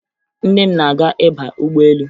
Nne m na-aga ịba ụgbọelu